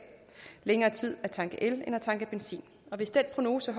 længere tid at tanke el end at tanke benzin og hvis den prognose